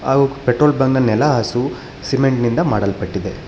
ಹಾಗೂ petrol bunk ನೆಲಹಾಸು cement ನಿಂದ ಮಾಡಲ್ಪಟ್ಟಿದೆ.